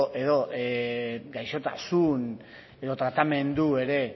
edo gaixotasun edo tratamendu ere